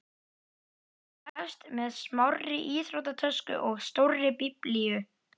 Það hefst með smárri íþróttatösku og stórri Biblíu.